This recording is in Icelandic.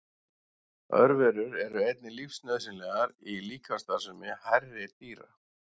Örverur eru einnig lífsnauðsynlegar í líkamsstarfsemi hærri dýra.